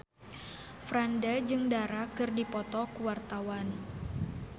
Franda jeung Dara keur dipoto ku wartawan